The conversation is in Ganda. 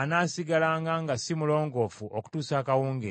anaasigalanga nga si mulongoofu okutuusa akawungeezi.